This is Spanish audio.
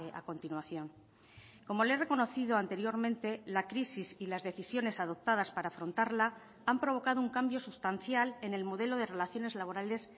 a continuación como le he reconocido anteriormente la crisis y las decisiones adoptadas para afrontarla han provocado un cambio sustancial en el modelo de relaciones laborales